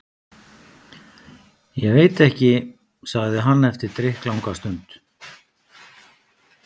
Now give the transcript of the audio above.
Ég veit ekki. sagði hann eftir drykklanga stund.